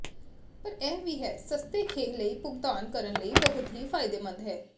ਪਰ ਇਹ ਵੀ ਹੈ ਸਸਤੇ ਖੇਹ ਲਈ ਭੁਗਤਾਨ ਕਰਨ ਲਈ ਬਹੁਤ ਹੀ ਫਾਇਦੇਮੰਦ ਹੈ